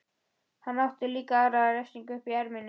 Hann átti líka aðra refsingu uppi í erminni.